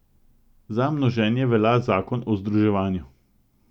Za množenje velja zakon o združevanju.